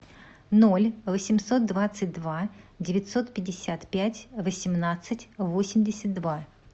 ноль восемьсот двадцать два девятьсот пятьдесят пять восемнадцать восемьдесят два